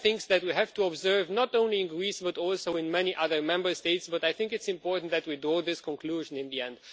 These are things that we have to observe not only in Greece but also in many other Member States, but I think it's important that we draw this conclusion in the end.